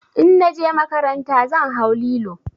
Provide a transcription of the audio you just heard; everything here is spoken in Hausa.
In na je makaranta zan hau lilo.